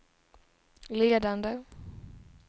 ledande